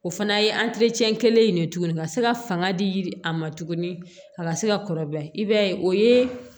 O fana ye kelen in de ye tuguni ka se ka fanga di a ma tuguni a ka se ka kɔrɔbaya i b'a ye o ye